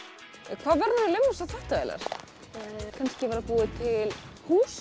hvað verður eiginlega um þessar þvottavélar kannski búið til hús